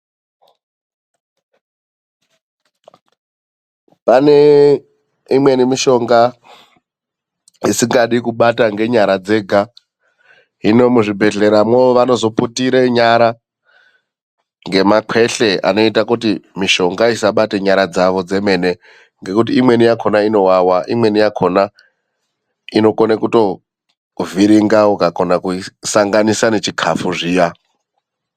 Pane imweni mishonga isingadi kubata ngenyara dzega. Hino muzvibhedhleramo vanozoputire nyara ngemakweshle anoita kuti mishonga isabate nyara dzavo dzemene ngekuti imweni yakona inowawa, imweni yakona inokone kutovhiringa ukakona kuisanganisa nechikafu zviya.